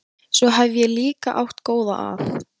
Svo hef ég líka átt góða að.